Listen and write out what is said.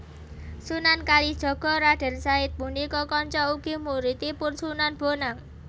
Sunan Kalijaga Raden Said punika kanca ugi muridipun Sunan Bonang